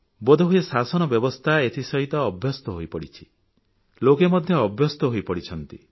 ବୋଧହୁଏ ଶାସନ ବ୍ୟବସ୍ଥା ଏଥିସହିତ ଅଭ୍ୟସ୍ତ ହୋଇପଡ଼ିଛି ଲୋକେ ମଧ୍ୟ ଅଭ୍ୟସ୍ତ ହୋଇପଡ଼ିଛନ୍ତି